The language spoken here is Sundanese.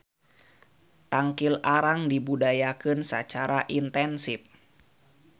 Tangkil arang dibudidayakeun sacara intensif.